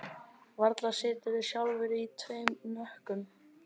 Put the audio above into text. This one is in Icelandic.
Varla siturðu sjálfur í tveim hnökkum